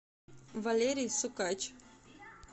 валерий сукач